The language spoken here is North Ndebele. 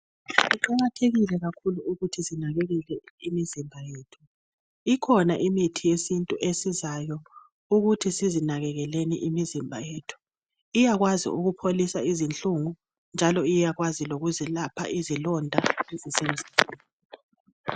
kuqakathekile kakhulu ukuthi sinakelele imizimba yethu ikhona imithi yesintu esizayo ukuthi sizinakelele imizimba yethu ,iyakwazi ukupho lisa izinhlungu njalo iyakwazi lokuzelapha izilonda ezisemzimbeni